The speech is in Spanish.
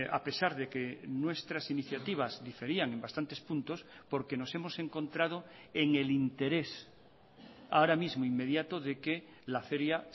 a pesar de que nuestras iniciativas diferían en bastantes puntos porque nos hemos encontrado en el interés ahora mismo inmediato de que la feria